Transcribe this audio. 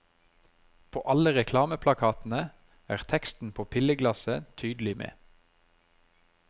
På alle reklameplakatene er teksten på pilleglasset tydelig med.